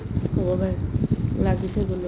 হ'ব পাৰে লাগিছে গ'লত